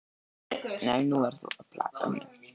Nei, þú ert að plata mig!